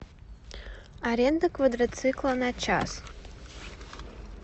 аренда квадроцикла на час